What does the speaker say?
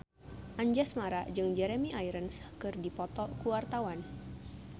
Anjasmara jeung Jeremy Irons keur dipoto ku wartawan